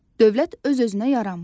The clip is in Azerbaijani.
Dövlət öz-özünə yaranmır.